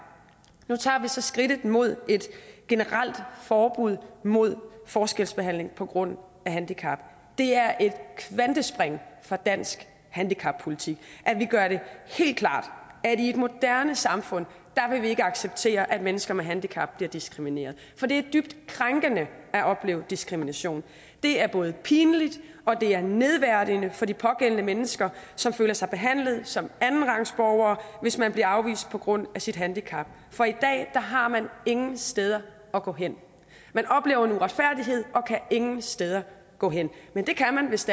nu tager vi så skridtet mod et generelt forbud mod forskelsbehandling på grund af handicap det er et kvantespring for dansk handicappolitik at vi gør det helt klart at i et moderne samfund vil vi ikke acceptere at mennesker med handicap bliver diskrimineret for det er dybt krænkende at opleve diskrimination det er både pinligt og det er nedværdigende for de pågældende mennesker som føler sig behandlet som andenrangsborgere hvis man bliver afvist på grund af sit handicap for i dag har man ingen steder at gå hen man oplever en uretfærdighed og kan ingen steder gå hen men det kan man hvis